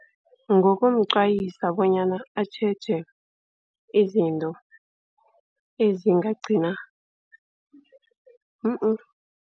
Ngokumqwayisa bonyana atjheje izinto ezingagcina